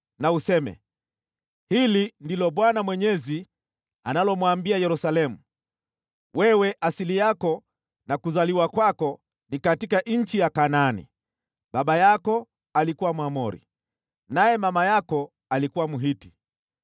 na useme, ‘Hili ndilo Bwana Mwenyezi, analomwambia Yerusalemu: Wewe asili yako na kuzaliwa kwako ni katika nchi ya Kanaani, baba yako alikuwa Mwamori, naye mama yako alikuwa Mhiti.